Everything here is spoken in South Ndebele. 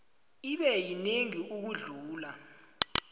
ibe yinengi ukudlula